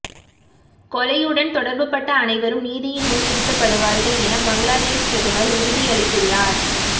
கொலையுடன் தொடர்புபட்ட அனைவரும் நீதியின் முன் நிறுத்தப்படுவார்கள் என பங்களாதேஸ் பிரதமர் உறுதியளித்துள்ளார்